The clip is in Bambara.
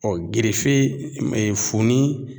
Ɔ gerefe e e funin